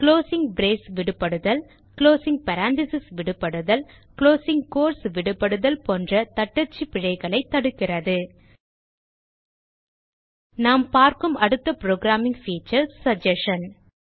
closing brace விடுபடுதல் closing parenthesis விடுபடுதல் closing quotes விடுபடுதல் போன்ற தட்டச்சு பிழைகளையும் தடுக்கிறது நாம் பார்க்கும் அடுத்த புரோகிராமிங் பீச்சர் சகஸ்ஷன்